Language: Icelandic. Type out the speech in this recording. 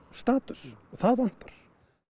status það vantar